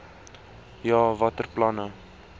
ja watter planne